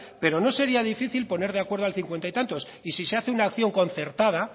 pero no sería difícil poner de acuerdo al cincuenta y tantos y si se hace una acción concertada